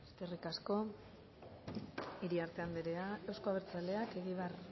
eskerrik asko iriarte anderea euzko abertzaleak egibar